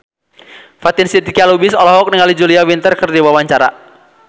Fatin Shidqia Lubis olohok ningali Julia Winter keur diwawancara